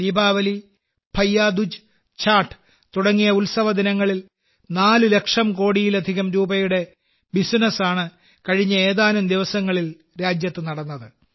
ദീപാവലി ഭയ്യാ ദൂജ് ഛാഠ് തുടങ്ങിയ ഉത്സവദിനങ്ങളിൽ 4 ലക്ഷം കോടിയിലധികം രൂപയുടെ ബിസിനസ് ആണ് കഴിഞ്ഞ ഏതാനും ദിവസങ്ങളിൽ രാജ്യത്ത് നടന്നത്